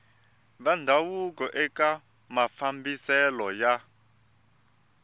va ndhavuko eka mafambiselo ya